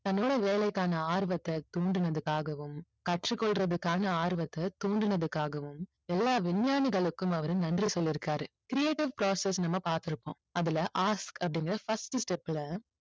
தங்களோட வேலைக்கான ஆர்வத்தை தூண்டுனதுக்காகவும் கற்றுக் கொள்றதுக்கான ஆர்வத்தை தூண்டுனதுக்காகவும் எல்லா விஞ்ஞானிகளுக்கும் அவரு நன்றி சொல்லி இருக்காரு. creative process நம்ம பார்த்திருப்போம். அதுல ask அப்படிங்கிற first step ல